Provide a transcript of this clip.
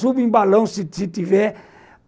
Subo em balão, se se tiver.